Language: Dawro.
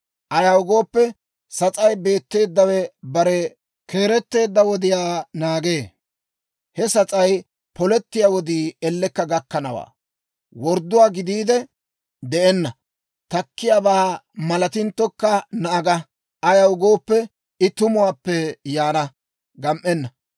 Ayaw gooppe, sas'aan beetteeddawe bare keeretteedda wodiyaa naagee. He sas'ay polettiyaa wodii ellekka gakkanawaa; wordduwaa gidiide de'enna. Takkiyaabaa malatinttokka naaga; ayaw gooppe, I tumuwaappe yaana; gam"enna.